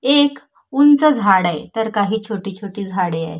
एक उंच झाड आहे तर काही छोटी छोटी झाडे आहे.